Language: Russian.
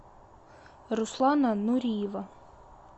руслана нуриева